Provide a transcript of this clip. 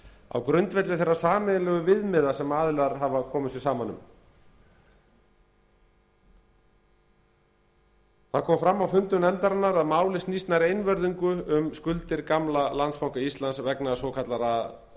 á grundvelli þeirra sameiginlegu viðmiða sem aðilar hafa komið sér saman um það kom fram á fundum nefndarinnar að málið snýst nær einvörðungu um skuldir gamla landsbanka íslands vegna